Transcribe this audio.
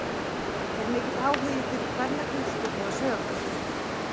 Er mikill áhugi fyrir kvennaknattspyrnu á Sauðárkróki?